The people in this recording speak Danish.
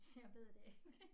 Jeg ved det ikke